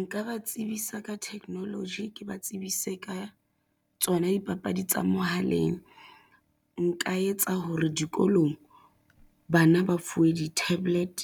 Nka ba tsebisa ka technology ke ba tsebise ka tsona dipapadi tsa mohaleng. Nka etsa hore dikolong bana ba fuwe di-tablet,